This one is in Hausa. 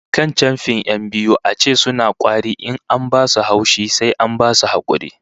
Akan chamfi 'yan biyu a ce suna kwari in an ba su haushi, sai an basu hakuri